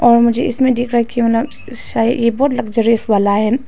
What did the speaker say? और मुझे इसमें दिख रहा है कि मतलब सये यह बहुत लग्जरियस वाला है।